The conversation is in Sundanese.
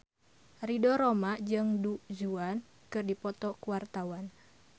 Ridho Roma jeung Du Juan keur dipoto ku wartawan